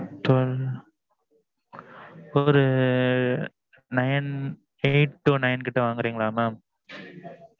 twelve ஒரு nine eight to nine கிட்ட வாங்குறீங்களா mam